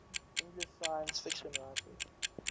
english science fiction writers